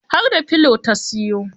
Har da pillow ta siyo